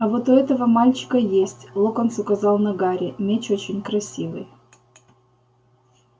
а вот у этого мальчика есть локонс указал на гарри меч очень красивый